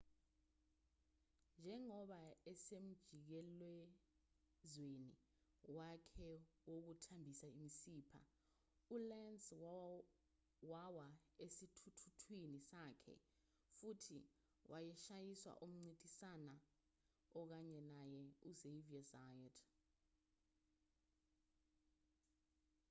njengoba esemjikelezweni wakhe wokuthambisa imisipha ulenz wawa esithuthuthwini sakhe futhi washayiswa umncintisani okanye naye uxavier zayat